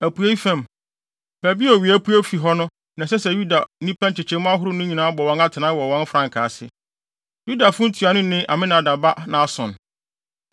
Apuei fam, baabi a owia pue fi hɔ no na ɛsɛ sɛ Yuda nnipa nkyekyɛmu ahorow no nyinaa bɔ wɔn atenae wɔ wɔn frankaa ase. Yudafo ntuanoni ne Aminadab ba Nahson.